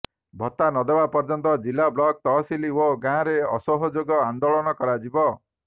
ଭତ୍ତା ନଦେବା ପର୍ଯ୍ୟନ୍ତ ଜିଲ୍ଲା ବ୍ଲକ ତହସିଲ ଓ ଗାଁରେ ଅସହଯୋଗ ଆନ୍ଦୋଳନ କରାଯିବ